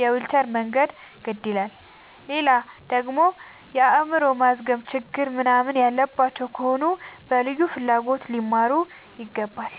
የዊልቸር መንገድ ግድ ይላላል። ሌላደግሞ የአይምሮ ማዝገም ችግር ምንናምን ያለባቸው ከሆኑ በልዩ ፍላጎት ሊማሩ ይገባል።